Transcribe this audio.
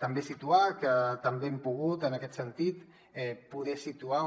també situar que també hem pogut en aquest sentit poder situar